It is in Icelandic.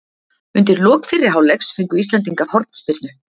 Undir lok fyrri hálfleiks fengu íslendingar hornspyrnu.